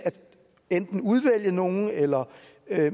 enten at udvælge nogle eller